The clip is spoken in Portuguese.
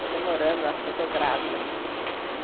Está demorando, acho que eu estou grávida.